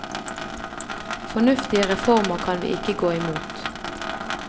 Fornuftige reformer kan vi ikke gå imot.